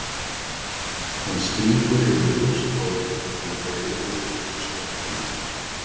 Hann strýkur yfir ljóst hárið með greiðu og burstar tennurnar.